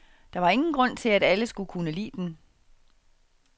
Der var ingen grund til, at alle skulle kunne lide den.